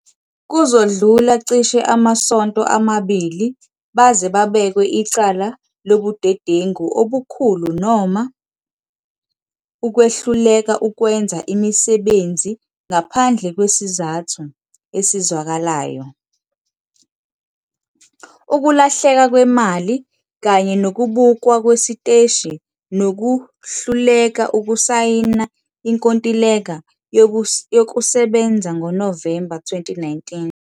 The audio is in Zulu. Kuzodlula cishe amasonto amabili baze babekwe icala lobudedengu obukhulu noma, ukwehluleka ukwenza imisebenzi ngaphandle kwesizathu esizwakalayo, ukulahleka kwemali kanye nokubukwa kwesiteshi nokuhluleka ukusayina inkontileka yokusebenza ngoNovemba 2019.